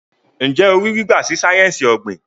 Njé o rí gbígba sí sáyẹnsì ogbin?